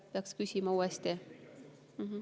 Peaks uuesti küsima.